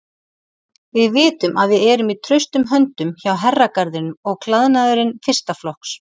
Við vitum að við erum í traustum höndum hjá Herragarðinum og klæðnaðurinn fyrsta flokks.